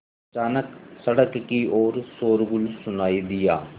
अचानक सड़क की ओर शोरगुल सुनाई दिया